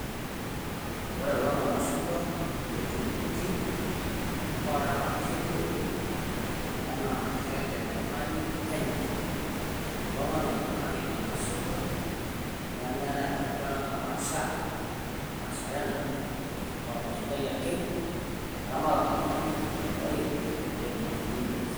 ore kulo naa irmashungwa ootuuruoki, oora naa kelio naa keeta enyamali penyo. kulo nganayio kake irmashungwa nemeetae enkae duata napaasha. eramatere ake eyieu pee etum atubulu esidai.